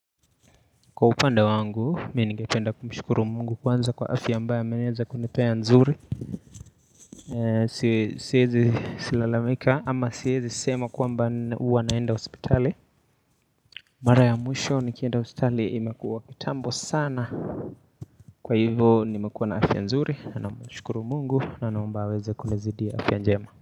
Kwa upande wangu, mi ningependa kumshukuru mungu kwanza kwa afya ambaye ameweza kunipea nzuri si siezi lalamika ama siezi sema kwamba huwa naenda hosipitali Mara ya mwisho nikienda hosipitali imekuwa kitambo sana kwa hivo nimekuwa na afya nzuri, namshukuru mungu na naomba aweze kunizidia afya njema.